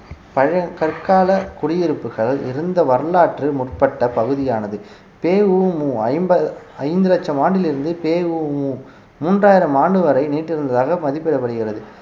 பழைய கற்கால குடியிருப்புகள் இருந்த வரலாற்று முற்பட்ட பகுதியானது பெ உ மு ஐம்ப~ஐந்து லட்சம் ஆண்டிலிருந்து பெ உ மு மூன்றாயிரம் ஆண்டு வரை நீட்டிருந்ததாக மதிப்பிடப்படுகிறது